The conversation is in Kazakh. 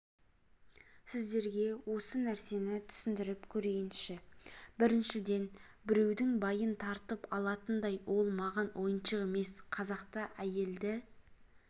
сіздерге осы нәрсені түсіндіріп көрейінші біріншіден біреудің байын тартып алатындай ол маған ойыншық емес қазақта әйелді